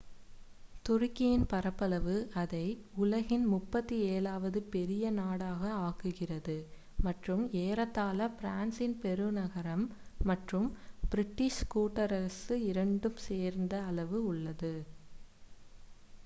துருக்கியின் பரப்பளவு அதை உலகின் 37 வது பெரிய நாடாக ஆக்குகிறது மற்றும் ஏறத்தாழ பிரான்சின் பெருநகரம் மற்றும் பிரிட்டிஷ் கூட்டரசு இரண்டும் சேர்ந்த அளவு உள்ளது